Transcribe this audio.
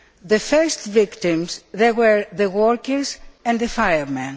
the first victims there were the workers and the firemen.